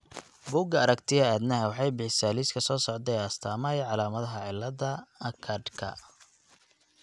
Bugga Aaragtiyaha Aadanaha waxay bixisaa liiska soo socda ee astaamaha iyo calaamadaha cillada Achardka.